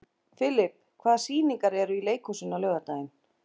Filip, hvaða sýningar eru í leikhúsinu á laugardaginn?